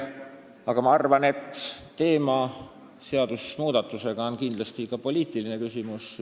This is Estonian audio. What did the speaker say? Aga ma arvan, et seadusmuudatuse teema on kindlasti ka poliitiline küsimus.